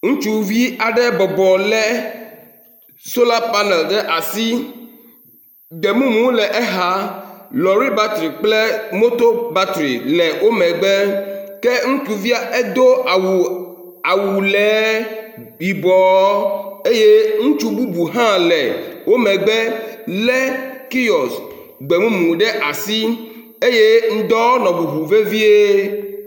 Ŋustuvi aɖe bɔbɔ le sola panel ɖe asi demumu le exa, lɔri battery kple motor battery le wo megbe ke ŋutsuvia do awu lee, yibɔ eye ŋutsu bubu hã le wo megbe le kiosk gbemumu ɖe asi eye ŋdɔ nɔ ŋuŋu vevie